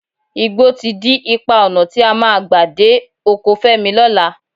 Igbó ti dí ipa ọnà tí a máa gbà dé oko Fẹ́mi lọ́la